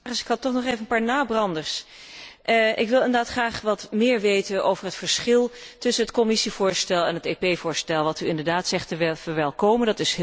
Voorzitter, ik had toch nog even een paar nabranders. Ik wil graag wat meer weten over het verschil tussen het Commissievoorstel en het voorstel van het EP, dat u zegt te verwelkomen.